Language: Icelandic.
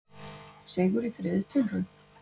Sigur í þriðju tilraun